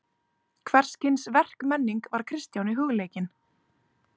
Hvers kyns verkmenning var Kristjáni hugleikin.